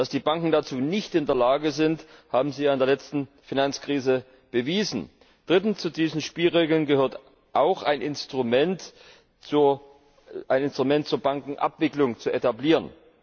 Dass die Banken dazu nicht in der Lage sind, haben sie ja in der letzten Finanzkrise bewiesen. Drittens Zu diesen Spielregeln gehört auch, ein Instrument zur Bankenabwicklung zu etablieren.